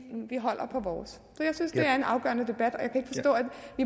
vi holder på vores jeg synes det er en afgørende debat